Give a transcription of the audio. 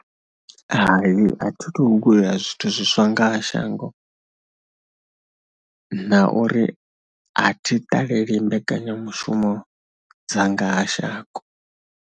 Hai a thi thu guda zwithu zwiswa nga ha shango na uri a thi ṱaleli mbekanyamushumo dza nga ha shango.